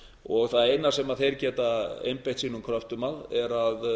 og það eina sem þeir geta einbeitt sínum kröftum að er að